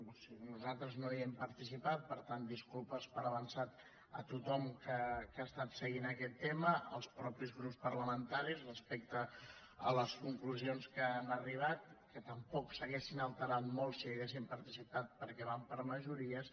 o sigui nosaltres no hi hem participat per tant disculpes per avançat a tothom que ha estat seguint aquest tema als mateixos grups parlamentaris respecte a les conclusions a què han arribat que tampoc s’haurien alterat molt si hi haguéssim participat perquè van per majories